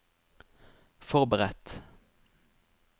forberedt